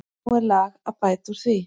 Nú er lag að bæta úr því.